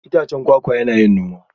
Itacen kwakwa yana yin noma?